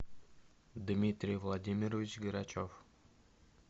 дмитрий владимирович грачев